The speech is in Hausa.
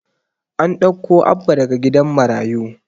An ɗauko Abba daga gidan marayu.